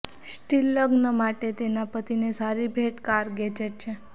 steel લગ્ન માટે તેના પતિને સારી ભેટ એ કાર ગેજેટ છે